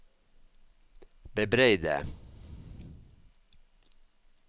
bebreide